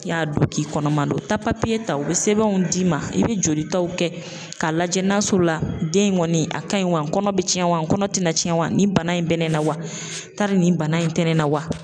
I y'a don k'i kɔnɔman do taa ta u bɛ sɛbɛnw d'i ma i bɛ jolitaw kɛ k'a lajɛ n'a sɔrɔ la den in kɔni a ka ɲi wa kɔnɔ bɛ cɛn wa n kɔnɔ tɛna cɛn wa nin bana in bɛ nɛ la wa tari nin bana in tɛ nɛ na.